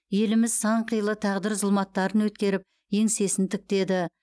еліміз сан қилы тағдыр зұлматтарын өткеріп еңсесін тіктеді